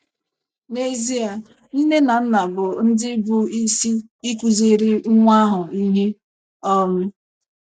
N’ezie, nne na nna bụ ndị bụ isi ịkụziri nwa ahụ ihe. um